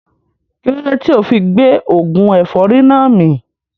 Kílódé tíì ofi gbé oògùn ẹ̀fọ́rì náà mì